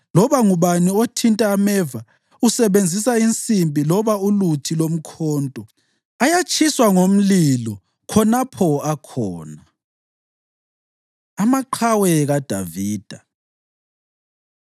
Loba ngubani othinta ameva usebenzisa insimbi loba uluthi lomkhonto; ayatshiswa ngomlilo khonapho akhona.” Amaqhawe KaDavida